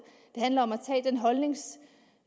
det handler om